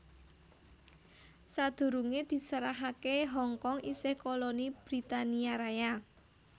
Sadurungé diserahaké Hong Kong isih koloni Britania Raya